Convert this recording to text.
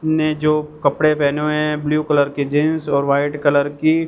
ने जो कपड़े पहने हुए हैं ब्लू कलर की जींस और व्हाइट कलर की--